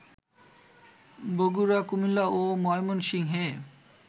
বগুড়া, কুমিল্লা ও ময়মনসিংহে